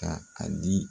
Ka a di